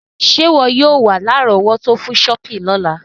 Sé wọ yio wa lárọ̀wọ́tó fun shopping lọ́la